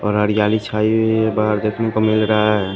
बाहर जाली छाई हुई बाहर देखने को मिल रहा है।